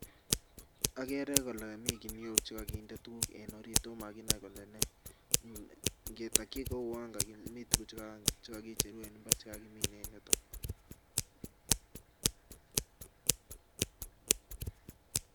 Okere olee mii kinuok chekokinde kinuok en oriit omokinoe kele nee, ngetokyi komii tukuk cheuwon chekokicheru en imbar chekakimin en yuton.